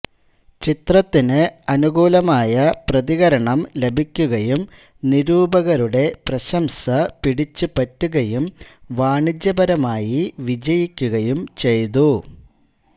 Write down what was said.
ചിത്രത്തിന് അനുകൂലമായ പ്രതികരണം ലഭിക്കുകയും നിരൂപകരുടെ പ്രശംസ പിടിച്ചുപറ്റുകയും വാണിജ്യപരമായി വിജയിക്കുകയും ചെയ്തു